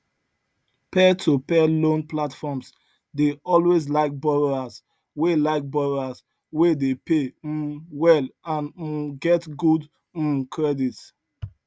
peertopeer loan platforms dey always like borrowers wey like borrowers wey dey pay um well and um get good um credit